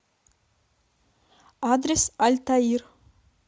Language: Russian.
адрес альтаир